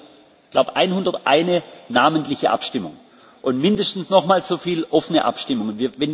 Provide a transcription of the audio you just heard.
ist. Wir hatten heute, glaube ich, 101 namentliche Abstimmungen und mindestens nochmal so viele offene Abstimmungen.